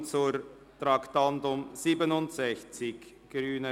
Wir kommen zum Traktandum 67,